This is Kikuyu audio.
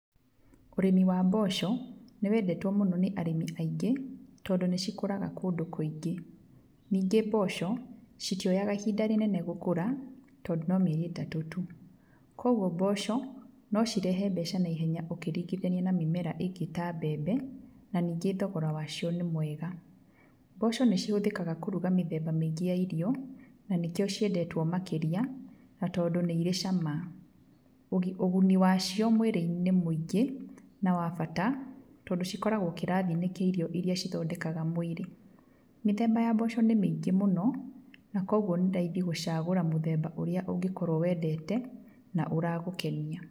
Ũrĩmi wa mboco nĩ wendetwo mũno nĩ arĩmi aingĩ, tondũ nĩ cikũraga kũndũ kũingĩ, ningĩ mboco, citioyaga ihinda rĩnene gũkũra, tondũ no mĩeri ĩtatũ tu, koguo mboco no cirehe mbeca naihenya ũkĩringithania na mĩmera ĩngĩ ta mbembe, na ningĩ thogora wacio nĩ mwega, mboco nĩ cihũthĩkaga kũruga mĩthemba mĩingĩ ya irio, na nĩkĩo ciendetwo makĩria, na tondũ nĩ irĩ cama, ũguni wacio mwĩrĩ-inĩ nĩ mũingĩ na wa bata, tondũ cikoragwo kĩrathi-inĩ kĩa irio iria cithondekaga mwĩrĩ, mĩthemba ya mboco nĩ mĩingĩ mũno, na koguo nĩ raithi gũcagũra mũthemba ũrĩa ũngĩkorwo wendete na ũragũkenia.